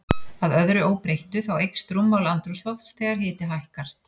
Að öðru óbreyttu, þá eykst rúmmál andrúmslofts þegar hiti hækkar.